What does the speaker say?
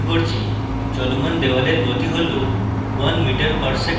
চলমান দেওয়ালের গতি হল 1 মিটার প্রতি সেকেন্ডে